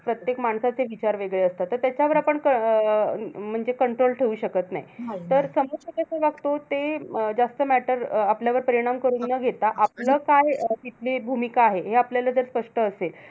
प्रत्येक माणसाचे विचार वेगळे असतात. तर त्याच्यावर आपण क अं म्हणजे control ठेऊ शकत नाही. तर समोरचा कसा वागतो, ते जास्त matter आपल्यावर परिणाम करून न घेता. आपलं काय तिथली भूमिका आहे, हे आपल्याला जर स्पष्ट असेल.